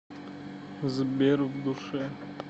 сбер в душе